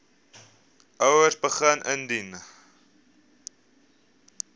ouers begin indien